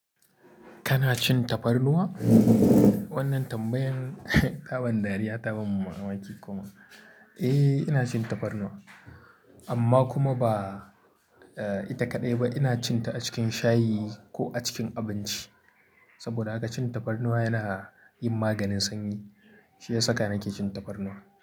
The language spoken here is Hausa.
Kana cin tafarnuwa? Wannan tambayan taban dariya taban mamaki kuma. Eh, ina cin tafarnuwa amma kuma ba, eh ita kaɗai ba. Ina cin ta a cikin shayi ko a cikin abinci. Saboda haka cin tafarnuwa yana yin maganin sanyi. Shi ya saka nake cin tafarnuwa.